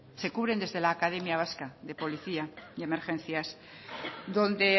se cubren desde la academia vasca de policía y emergencias donde